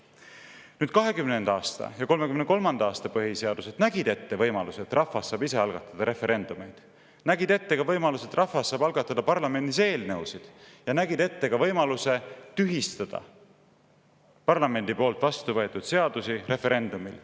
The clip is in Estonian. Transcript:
1920. aasta ja 1933. aasta põhiseadus nägid ette võimaluse, et rahvas saab ise algatada referendumeid, nägid ette ka võimaluse, et rahvas saab algatada parlamendis eelnõusid, ja nägid ette ka võimaluse tühistada parlamendis vastuvõetud seadusi referendumil.